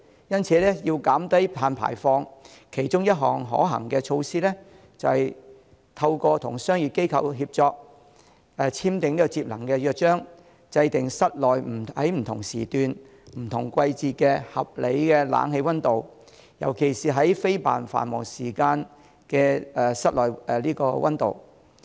因此，要減低碳排放，其中一項可行的措施，就是透過與商業機構協作，簽訂節能約章，制訂室內不同時段、不同季節的合理冷氣溫度，尤其是非繁忙時間的室內溫度。